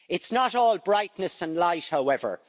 It's not all brightness and light, however.